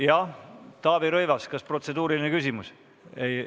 Jah, Taavi Rõivas, kas oli protseduuriline küsimus?